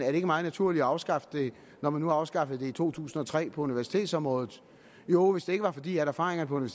er meget naturligt at afskaffe det når man nu afskaffede det i to tusind og tre på universitetsområdet jo hvis det ikke var fordi erfaringerne